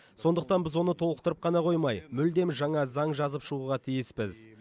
сондықтан біз оны толықтырып қана қоймай мүлдем жаңа заң жазып шығуға тиіспіз